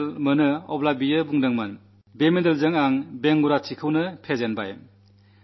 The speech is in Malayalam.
മെഡൽ നേടിയപ്പോൾ ആ സഹോദരി പറഞ്ഞു ഈ മെഡലിലൂടെ ഞാൻ വികലാംഗത്വത്തെത്തന്നെ പരാജയപ്പെടുത്തി